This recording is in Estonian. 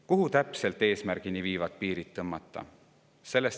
Kuhu täpselt eesmärkide puhul need piirid tõmmata?